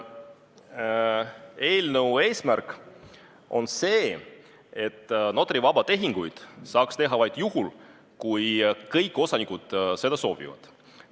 Eelnõu eesmärk on see, et notarivabu tehinguid saaks teha vaid juhul, kui kõik osanikud seda soovivad.